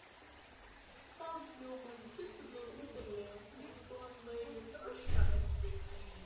Það hljómaði sérlega undarlega, líkt og hann væri þroskaheftur.